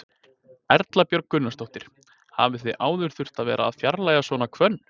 Erla Björg Gunnarsdóttir: Hafið þið áður þurft að vera að fjarlægja svona hvönn?